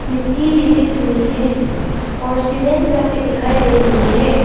मिट्टी में दिख रही है और सीमेंट सब भी दिखाई दे रही है।